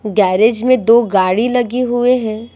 Garage में दो गाड़ी लगी हुए हैं।